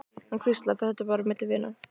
Hann hvíslar, þetta er bara milli vina.